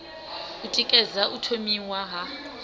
u tikedza u thomiwa ha